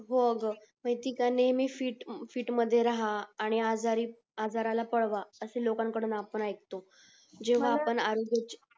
हो ग ती काय नेहमी प्रत्येकानी फीट मध्ये राहा आणि आजारी आजाराला पळवा असे लोकं कडून आपण ऐकतो जेव्हा आपण आरोग्यची